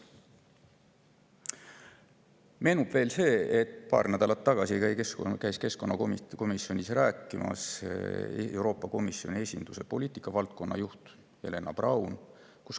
Meenub veel see, et paar nädalat tagasi käis keskkonnakomisjonis rääkimas Euroopa Komisjoni esinduse poliitikavaldkonna juht Helena Braun.